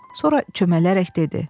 Sonra çömələrək dedi: